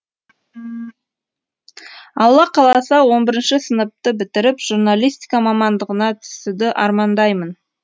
алла қаласа он бірінші сыныпты бітіріп журналистика мамандығына түсуді армандаймын